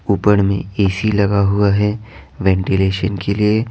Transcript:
ऊपर में एसी लगा हुआ है वेंटिलेशन के लिए।